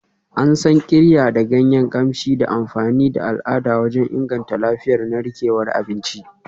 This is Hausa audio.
An san Qirya da ganyen kamshi da amfani da al'ada wajen inganta lafiyar narkewar abinci.